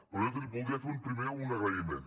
però jo voldria fer primer un agraïment